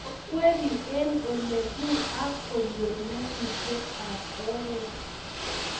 ko kweri eng ola puh ako nyor nyasutiet ab oret